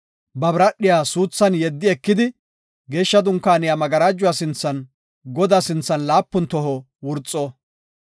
ba biradhiya suuthan yeddi ekidi Geeshsha Dunkaaniya magarajuwa sinthan Godaa sinthan laapun toho wurxo.